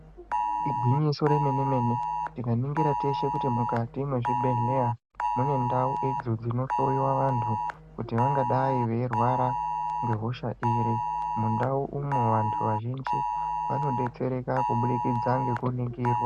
Igwinyiso remene mene tikaningira teshe kuti mukati mwezvibhedhleya munendau idzo dzinohloyiwa vantu kuti vangadai veirwara ngehosha iri mundau umu vantu vazhinji vanobetsereka kubudikidza ngekuningirwa.